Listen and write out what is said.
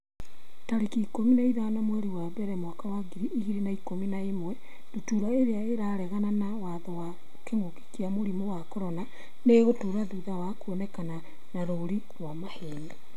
tarĩki ikũmi na ithano mweri wa mbere mwaka wa ngiri igĩrĩ na ikũmi na ĩmwe Ndutura irĩa 'ĩraregana na mawatho ma kĩngũki kia mũrimũ wa CORONA nĩ ĩgũtũra thutha wa kuonekana na rũũri rwa maheeni.